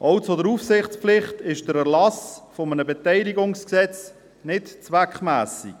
Auch zur Aufsichtspflicht ist der Erlass eines Beteiligungsgesetzes nicht zweckmässig.